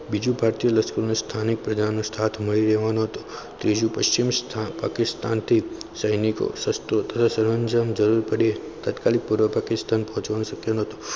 બીજું ભારતીય લશ્કરની પ્રજાનો સાથ મળી રહેવાનો હતો તેનું પશ્ચિમ સ્થાન પાકિસ્તાનથી સૈનિકો શાસ્ત્રો જરૂર પડી તાત્કાલિક પૂર્વ પાકિસ્તાન ફોજમાં શક્ય ન હતું.